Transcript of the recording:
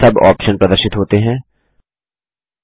विभिन्न सब आप्शन उप विकल्प प्रदर्शित होते हैं